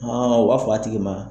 u b'a fɔ a tigi ma.